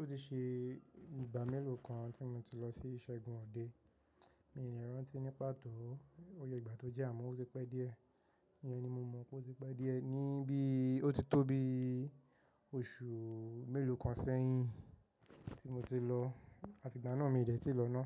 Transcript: Ó ti ṣe ìgbà mélòó kan tí mo ti lọ sí ìsẹ̀gun ọdẹ, mi ò le rántí ní pàtó. Òye ìgbà tó jẹ́ àmọ́ ó ti pẹ́ díẹ̀. Ìyẹn ni mo mọ̀ pé ó ti pẹ́ díẹ̀ ní bí ó ti tó bí oṣù mélòó kan sẹ́yìn tí mo ti lọ àti ìgbà náà mi ò dẹ̀ ti lọ ná.